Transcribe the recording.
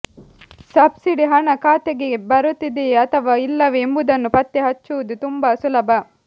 subsidy ಹಣ ಖಾತೆಗೆ ಬರುತ್ತಿದೆಯೇ ಅಥವಾ ಇಲ್ಲವೇ ಎಂಬುದನ್ನು ಪತ್ತೆ ಹಚ್ಚುವುದು ತುಂಬಾ ಸುಲಭ